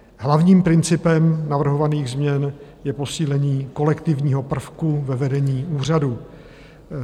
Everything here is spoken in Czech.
Hlavním principem navrhovaných změn je posílení kolektivního prvku ve vedení úřadu.